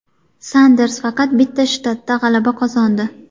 Sanders faqat bitta shtatda g‘alaba qozondi.